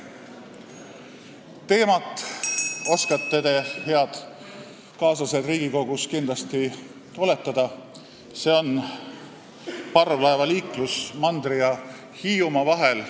Teemat oskate te, head kaaslased Riigikogus, kindlasti oletada, see on parvlaevaliiklus mandri ja Hiiumaa vahel.